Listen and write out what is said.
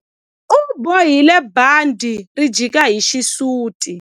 U bohile bandhi ri jika hi xisuti.